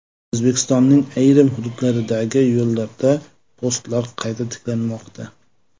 O‘zbekistonning ayrim hududlaridagi yo‘llarda postlar qayta tiklanmoqda.